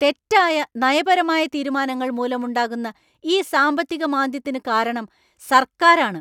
തെറ്റായ നയപരമായ തീരുമാനങ്ങൾ മൂലമുണ്ടായ ഈ സാമ്പത്തിക മാന്ദ്യത്തിനു കാരണം സർക്കാരാണ്.